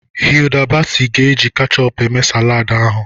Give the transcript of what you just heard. Hilda Baci ga-eji kechup eme saladị ahụ.